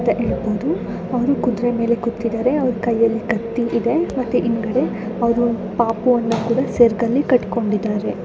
ಅಂತ ಹೆಡಬಹುದು ಅವರು ಕುದರೆ ಮೇಲೆ ಕುತ್ತಿದ್ದಾರೆ ಅವರು ಕೈ ಯಲ್ಲಿ ಕತ್ತಿ ಇದೆ ಮತ್ತೆ ಹಿಂಗಿದೆ ಅವರು ಪಾಪು ಅನ್ನು ಕೊಡ ಸೆರಗಲ್ಲಿ ಕಟ್ಟಿಕೊಂಡಿದ್ದಾರೆ.